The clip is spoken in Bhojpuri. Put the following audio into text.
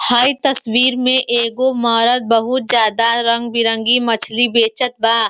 हई तस्वीर में एगो मरद बहुत ज्यादा रंग बिरंगी मछली बेचत बा।